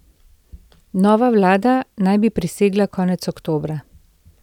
Nova vlada naj bi prisegla konec oktobra.